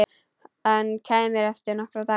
Hann kæmi eftir nokkra daga.